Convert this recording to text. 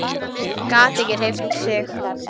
Gat ekki hreyft sig.